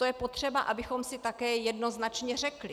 To je potřeba, abychom si také jednoznačně řekli.